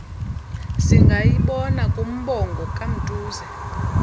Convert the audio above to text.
singayibona kumbongo kamtuze